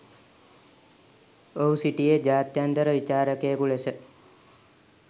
ඔහු සිටියේ ජාත්‍යන්තර විචාරකයකු ලෙස